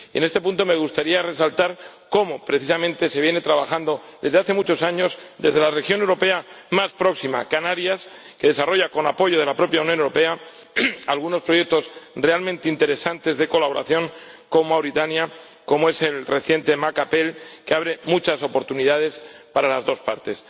En este punto me gustaría resaltar cómo precisamente se viene trabajando desde hace muchos años desde la región europea más próxima, Canarias, que desarrolla, con apoyo de la propia Unión Europea, algunos proyectos realmente interesantes de colaboración con Mauritania, como es el reciente Macapel, que abre muchas oportunidades para las dos partes.